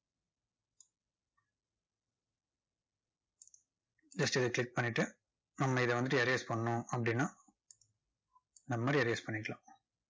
just இதை click பண்ணிட்டு, நம்ம இதை வந்துட்டு erase பண்ணணும் அப்படின்னா, இந்த மாதிரி erase பண்ணிக்கலாம்.